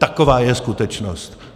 Taková je skutečnost.